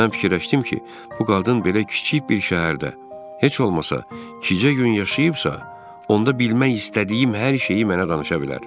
Mən fikirləşdim ki, bu qadın belə kiçik bir şəhərdə heç olmasa iki-cə gün yaşayıbsa, onda bilmək istədiyim hər şeyi mənə danışa bilər.